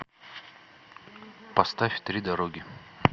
поставь три дороги